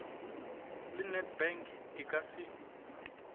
la nedbank di ka se